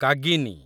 କାଗିନି